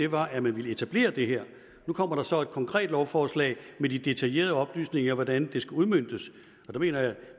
var at man ville etablere det her nu kommer der så et konkret lovforslag med de detaljerede oplysninger om hvordan det skal udmøntes der mener jeg at